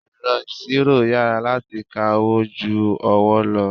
Ẹ̀rọ ìṣirò yára láti ka owó ju ọwọ́ lọ.